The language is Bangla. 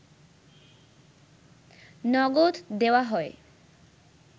নগদ দেওয়া হয়